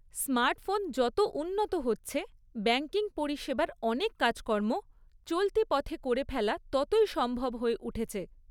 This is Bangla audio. স্মার্টফোন যত উন্নত হচ্ছে, ব্যাংকিং পরিষেবার অনেক কাজকর্ম চলতি পথে করে ফেলা ততই সম্ভব হয়ে উঠেছে।